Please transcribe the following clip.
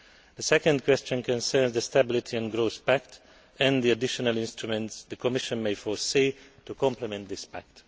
The second question concerns the Stability and Growth Pact and the additional instruments the Commission may foresee to complement this pact.